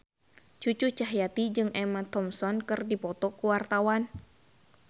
Cucu Cahyati jeung Emma Thompson keur dipoto ku wartawan